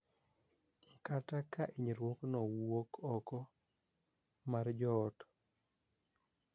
Kata ka hinyruokno wuok oko mar joot,